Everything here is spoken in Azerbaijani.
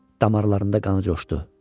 Damarlarında qanı coşdu.